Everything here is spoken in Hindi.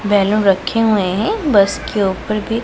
बैलून रखे हुए हैं बस के ऊपर भी।